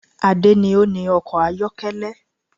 Ade ni o ni ọkọ̀ ayọ́kẹ́lẹ́